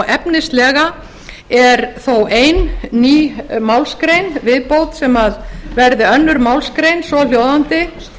efnislega er þó ein ný málsgrein í viðbót sem verði annarri málsgrein svohljóðandi